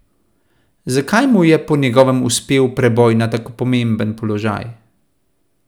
Zakaj mu je po njegovem uspel preboj na tako pomemben položaj?